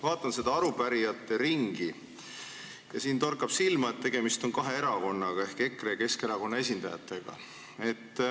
Vaatan seda arupärijate ringi ja torkab silma, et tegemist on kahe erakonnaga ehk EKRE ja Keskerakonna esindajatega.